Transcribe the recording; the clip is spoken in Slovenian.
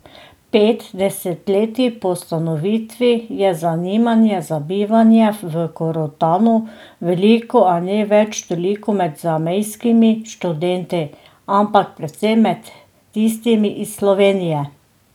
Pet desetletij po ustanovitvi je zanimanja za bivanje v Korotanu veliko, a ne več toliko med zamejskimi študenti, ampak predvsem med tistimi iz Slovenije.